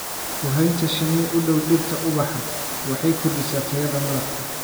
Ku haynta shinni u dhow dhirta ubaxa waxay kordhisaa tayada malabka.